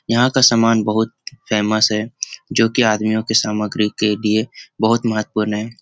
यहाँ का सामान बहुत फेमस है जो की आदमियों के सामग्री के लिए बहुत महत्वपूर्ण है।